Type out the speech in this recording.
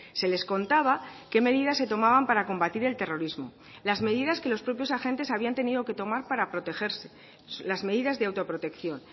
se les contaba qué medidas se tomaban para combatir el terrorismo las medidas que los propios agentes habían tenido que tomar para protegerse las medidas de autoprotección